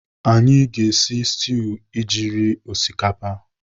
Anyị ga-esi stuu iji rie osikapa.